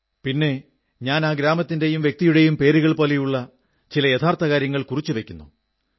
പിന്നെ ഞാൻ ആ ഗ്രാമത്തിന്റെയും വ്യക്തിയുടെയും പേരുകൾ പോലുള്ള ചില യഥാർഥ കാര്യങ്ങൾ കുറിച്ചു വയ്ക്കുന്നു